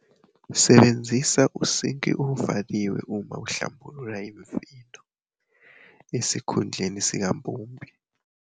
Sebenzisa usinki ovaliwe uma uhlambulula imifino, esikhundleni sikampompi.